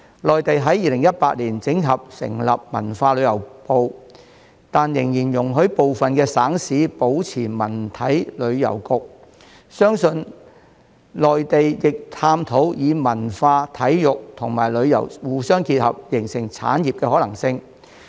內地於2018年整合成立文化和旅遊部，但仍然容許部分省市保留文體旅遊局，相信內地亦正在探討將文化、體育及旅遊互相結合，形成產業的可能性。